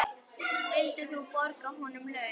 Vildir þú borga honum laun?